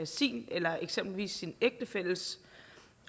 sin eller eksempelvis sin ægtefælles